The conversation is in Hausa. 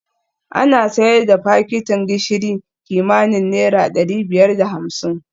Ana sayar da fakitin gishiri kimanin naira dari biyar da hamsin